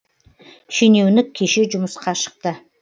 шенеунік кеше жұмысқа шықты